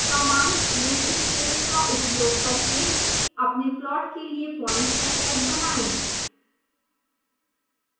command linspace का उपयोग करके अपने प्लॉट के लिए प्वाइंट्स का सेट बनाएं